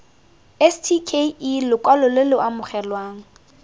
stke lokwalo lo lo amogelwang